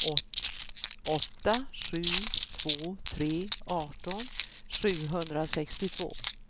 åtta sju två tre arton sjuhundrasextiotvå